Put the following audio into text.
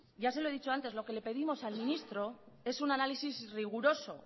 ya se lo he dicho antes lo que le pedimos al ministro es un análisis riguroso